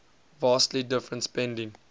vastly different spending